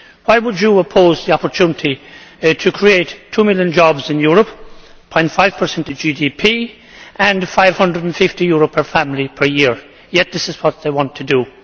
Why would you oppose the opportunity to create two million jobs in Europe, 0.5 of GDP and EUR 550 per family per year? Yet this is what they want to do.